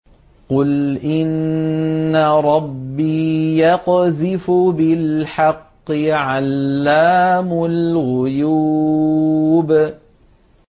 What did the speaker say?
قُلْ إِنَّ رَبِّي يَقْذِفُ بِالْحَقِّ عَلَّامُ الْغُيُوبِ